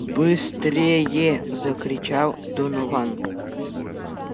быстрее закричал донован